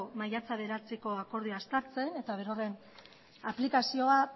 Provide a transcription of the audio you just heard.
maiatzak bederatziko akordioa uztartzen eta berorren aplikazioa